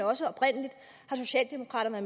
også oprindelig har socialdemokraterne